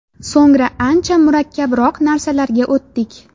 So‘ngra ancha murakkabroq narsalarga o‘tdik.